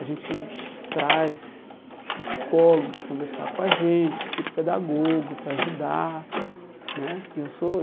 A gente traz psicólogo para conversar com a gente, psicopedagogo para ajudar né que eu sou.